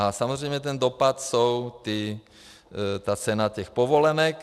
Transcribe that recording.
A samozřejmě ten dopad je ta cena těch povolenek.